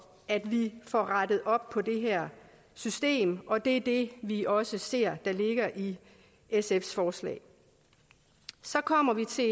at vi får rettet op på det her system og det er det vi også ser ligger i sfs forslag så kommer vi til